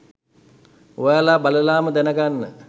ඔයාලා බලලාම දැනගන්න.